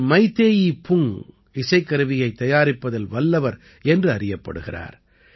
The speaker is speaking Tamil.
இவர் மைதேயி புங் இசைக்கருவியைத் தயாரிப்பதில் வல்லவர் என்று அறியப்படுகிறார்